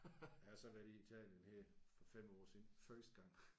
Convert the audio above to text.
Jeg har så været i Italien her for 5 år siden første gang